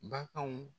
Baganw